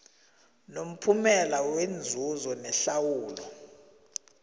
nomphumela wenzuzo nehlawulo